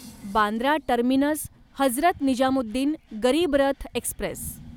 Bandra Terminus Hazrat Nizamuddin Garib Rath Express